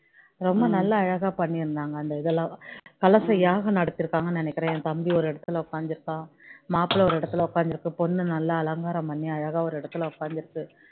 ரொம்ப நல்லா அழகா பண்ணியிருந்தாங்க அந்த இதெல்லாம் கலசம் யாகம் நடத்திருக்காங்கன்னு நினைக்கிறேன் என் தம்பி ஒரு இடத்துல உட்கார்ந்து இருக்கான் மாப்பிள்ளை ஒரு இடத்துல உட்கார்ந்து இருக்கு பொண்ணு நல்லா அலங்காரம் பண்ணி அழகா ஒரு இடத்துல உட்கார்ந்து இருக்கு